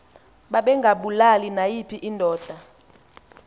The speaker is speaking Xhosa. babengabulali nayiphi indoda